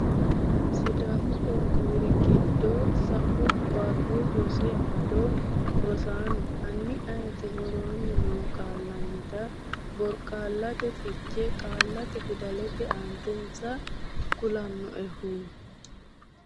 sidamu qooqqowu rgido sau Barru Rosi Amado Rosaano, hanni ayeeti woroonni noo • Qaallannita borqaallate fiche qaallata fidallate aantesa kulannoehu?